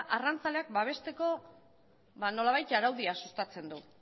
arrantzaleak babesteko ba nolabait araudia sustatzen du